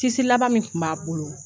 laban min tun b'a bolo.